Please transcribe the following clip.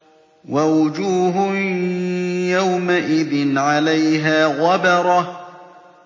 وَوُجُوهٌ يَوْمَئِذٍ عَلَيْهَا غَبَرَةٌ